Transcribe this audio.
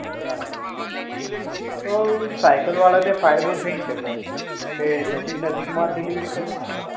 બરાબર છે તો સાયકલ વાળા ને ફાયદો થઇ શકે કે નજીક નજીક માં જ delivery કરી ને